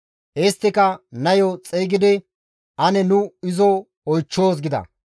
Isttika, «Nayo xeygidi ane nu izo oychchoos» gida.